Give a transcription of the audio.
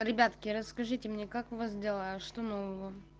ребятки расскажите мне как у вас дела что нового